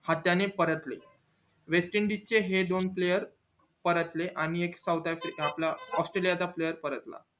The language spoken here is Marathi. ने परतले west indies हे दोन player परतले आणि साऊथ आपलं एक आस्ट्रेलिया चा player परतला